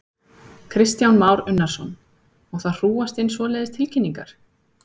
Kristján Már Unnarsson: Og það hrúgast inn svoleiðis tilkynningar?